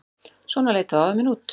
Svona leit þá afi minn út.